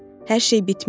Hər şey bitmişdi.